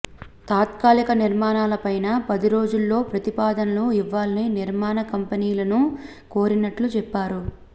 తాత్కాలిక నిర్మాణాల పైన పదిరోజుల్లో ప్రతిపాదనలు ఇవ్వాలని నిర్మాణ కంపెనీలను కోరినట్లు చెప్పారు